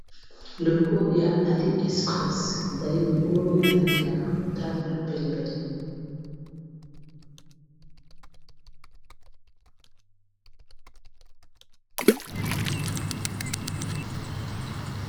Logo ya Ali expresse ezali logo ya langi ya motane na pembe.